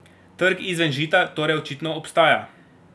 Trg izven Žita torej očitno obstaja.